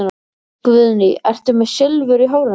Guðný: Ertu með Silfur í hárinu?